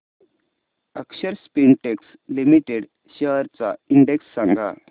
अक्षर Spintex Limited shares चा index सांगा